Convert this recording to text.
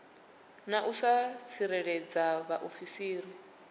na u sa tsireledza vhaofisiri